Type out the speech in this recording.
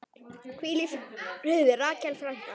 Hvíl í friði, Rakel frænka.